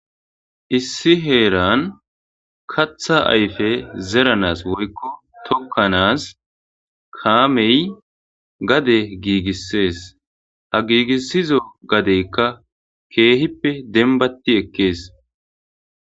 Issi heeran katha ayfe zeranas woykko tokkanas kaamey gade giigissees. Ha giigissizo gadeykka keehippe denbatti ekkees.